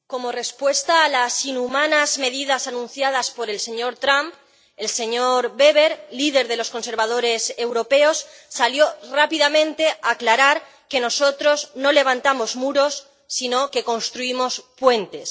Señor presidente, como respuesta a las inhumanas medidas anunciadas por el señor Trump, el señor Weber, líder de los conservadores europeos, salió rápidamente a aclarar que nosotros no levantamos muros sino que construimos puentes.